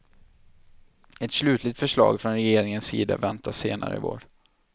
Ett slutligt förslag från regeringens sida väntas senare i vår.